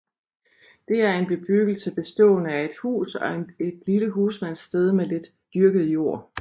Det er en bebyggelse bestående af et hus og et lille husmandssted med lidt dyrket jord